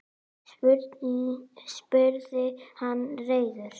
spurði hann reiður.